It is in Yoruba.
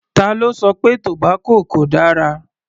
Ta ló sọ pé tobacco kò dára?